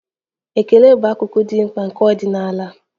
Ekele bụ akụkụ dị mkpa nke ọdịnaya.